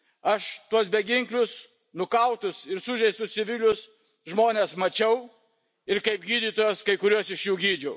Aš tuos beginklius, nukautus ir sužeistus civilius žmonės mačiau, ir kaip gydytojas kai kurios iš jų gydžiau.